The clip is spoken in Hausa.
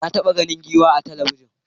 Na taɓa ganin giwa a talabijin.